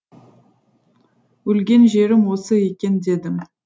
өлген жерім осы екен дедім